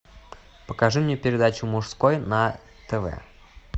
покажи мне передачу мужской на тв